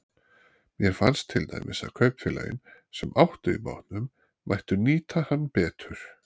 Mér fannst til dæmis að kaupfélögin, sem áttu í bátnum, mættu nýta hann betur.